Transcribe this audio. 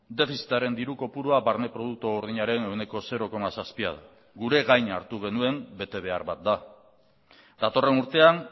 defizitaren diru kopurua barne produktu gordinaren ehuneko zero koma zazpia da gure gain hartu genuen betebehar bat da datorren urtean